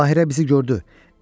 Bahiə bizi gördü.